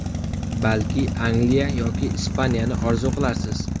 Balki Angliya yoki Ispaniyani orzu qilarsiz?